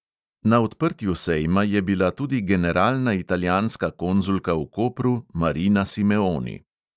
Na odprtju sejma je bila tudi generalna italijanska konzulka v kopru marina simeoni.